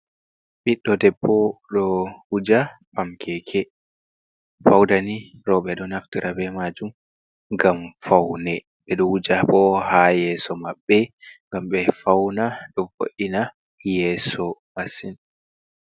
Ɓiɗɗo debbo ɗo wuuja pamkeke fauna rewɓe ɗo naftira be majuum ngam faune ɓe ɗoo wuja bo ha yeso maɓɓe ngam ɓe fauna ɗo bo’ina yeso masin.